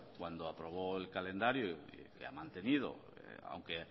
cuando aprobó el calendario que ha mantenido aunque